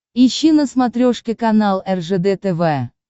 ищи на смотрешке канал ржд тв